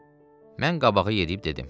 Mən qabağa gedib dedim.